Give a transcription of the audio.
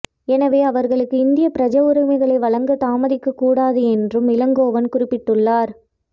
எனவே அவர்களுக்கு இந்திய பிரஜாவுரிமைகளை வழங்க தாமதிக்கக்கூடாது என்றும் இளங்கோவன் குறிப்பிட்டுள்ளார்